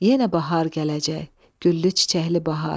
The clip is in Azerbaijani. Yenə bahar gələcək, güllü-çiçəkli bahar.